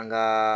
An gaa